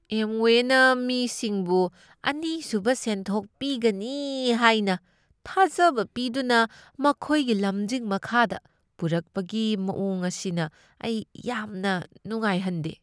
ꯑꯦꯝꯋꯦꯅ ꯃꯤꯁꯤꯡꯕꯨ ꯑꯅꯤꯁꯨꯕ ꯁꯦꯟꯊꯣꯛ ꯄꯤꯒꯅꯤ ꯍꯥꯏꯅ ꯊꯥꯖꯕ ꯄꯤꯗꯨꯅ ꯃꯈꯣꯏꯒꯤ ꯂꯝꯖꯤꯡ ꯃꯈꯥꯗ ꯄꯨꯔꯛꯄꯒꯤ ꯃꯑꯣꯡ ꯑꯁꯤꯅ ꯑꯩ ꯌꯥꯝꯅ ꯅꯨꯡꯉꯥꯏꯍꯟꯗꯦ꯫